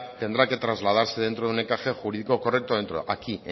tendrá que trasladarse dentro de un encaje jurídico correcto aquí